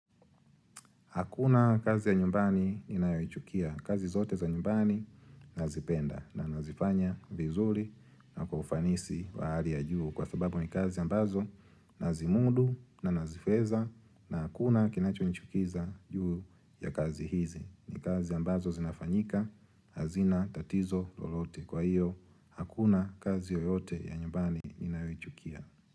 Hakuna kazi ya nyumbani ninayoichukia. Kazi zote za nyumbani nazipenda na nazifanya vizuri na kwa ufanisi wa hali ya juu kwa sababu ni kazi ambazo nazimudu na naziweza na hakuna kinachonichukiza juu ya kazi hizi. Ni kazi ambazo zinafanyika hazina tatizo lolote kwa hiyo hakuna kazi yoyote ya nyumbani ninayoichukia.